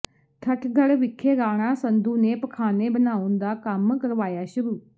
ਠੱਠਗੜ੍ਹ ਵਿਖੇ ਰਾਣਾ ਸੰਧੂ ਨੇ ਪਖ਼ਾਨੇ ਬਣਾਉਣ ਦਾ ਕੰਮ ਕਰਵਾਇਆ ਸ਼ੁਰੂ